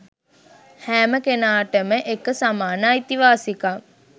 හෑම කෙනාටම එක සමාන අයිතිවාසිකම්